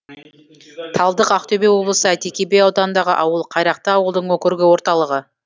талдық ақтөбе облысы әйтеке би ауданындағы ауыл қайрақты ауылдық округі орталығы